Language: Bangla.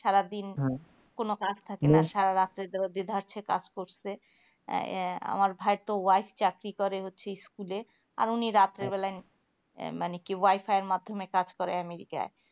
সারাদিন কোনো কাজ থাকা না সারা রাত যে থাকছে সে কাজ করছে আমার ভাই তো wife চাকরি করে হচ্ছে school এ আর উনি রাত্রে বেলায় আহ মানে কি wifi এর মাধ্যমে কাজ করে amaricai